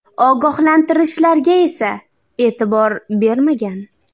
Ogohlantirishlarga esa e’tibor bermagan.